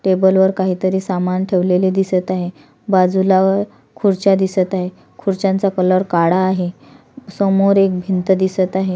Table वर काहीतरी सामान ठेवलेले दिसत आहे बाजूला खुर्च्या दिसत आहे खुर्च्यांचा कलर काळा आहे समोर एक भिंत दिसत आहे.